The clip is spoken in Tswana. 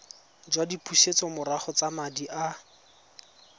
jwa dipusetsomorago tsa madi a